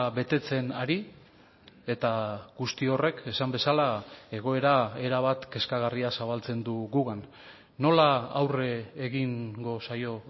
betetzen ari eta guzti horrek esan bezala egoera erabat kezkagarria zabaltzen du gugan nola aurre egingo zaio